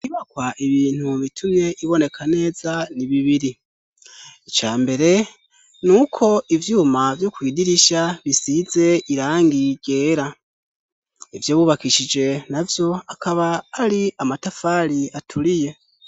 Inyubakwa ibintu bitumye iboneka neza ni bibiri ica mbere nuko ivyuma vyo kwidirisha bisize irangi ryera ivyo bubakishije navyo akaba ari amatafari aturiye.